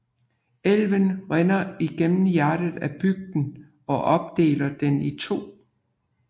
Elven rinder igennem hjertet af bygden og opdeler den i to